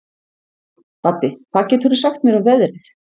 Baddi, hvað geturðu sagt mér um veðrið?